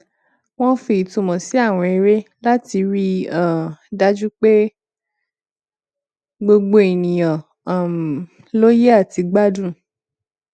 wọn fi ìtumọ sí àwọn eré láti rí um dájú pé gbogbo ènìyàn um lóye àti gbádùn